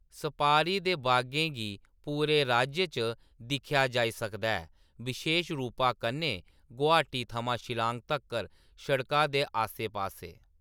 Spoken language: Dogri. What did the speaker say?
सपारी दे बागें गी पूरे राज्य च दिक्खेआ जाई सकदा ऐ, बशेश रूपा कन्नै गुवाहाटी थमां शिलांग तक्कर सड़का दे आस्सै-पास्सै।